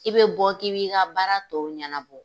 K'i be bɔ, k'i'b'i ka baara tɔw ɲɛnabɔ